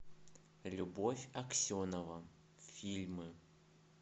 любовь аксенова фильмы